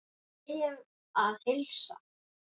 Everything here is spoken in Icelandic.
Við biðjum að heilsa.